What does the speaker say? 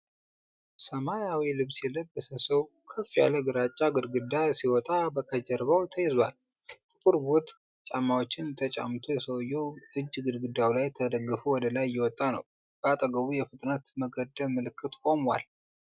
ሰማያዊ ልብስ የለበሰ ሰው ከፍ ያለ ግራጫ ግድግዳ ሲወጣ ከጀርባው ተይዟል። ጥቁር ቦት ጫማዎችን ተጫምቶ፣ የሰውየው እጅ ግድግዳው ላይ ተደግፎ ወደ ላይ እየወጣ ነው። በአጠገቡ የፍጥነት መገደብ ምልክት ቆሟል።